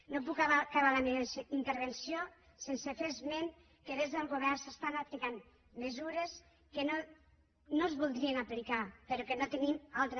no puc acabar la meva intervenció sense fer esment que des del govern s’estan aplicant mesures que no es voldrien aplicar però que no tenim altra